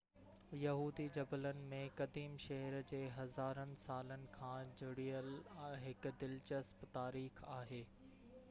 يهودي جبلن ۾ قديم شهر جي هزارن سالن کان جڙيل هڪ دلچسپ تاريخ آهي